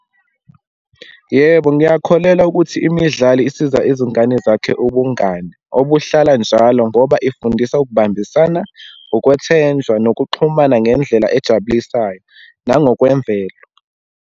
Yebo, ngiyakholelwa ukuthi imidlalo isiza izingane zakhe ubungane obuhlala njalo, ngoba ifundisa ukubambisana, ukwethenjwa, nokuxhumana ngendlela ejabulisayo, nangokwemvelo.